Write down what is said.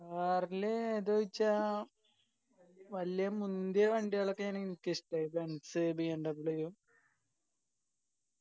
car ൽ ഏതാ ചോയിച്ചാ വല്യ മുന്തിയ വണ്ടികളൊക്കെയാണ് എനിക്ക് ഇഷ്ട്ടം benzBMW